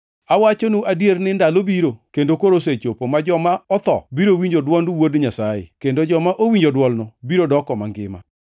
Awachonu adier ni ndalo biro, kendo koro osechopo, ma joma otho biro winjo dwond Wuod Nyasaye, kendo joma owinjo dwolno biro doko mangima.